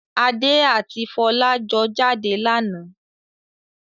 Adé àti Fọlá jọ jáde lánàá.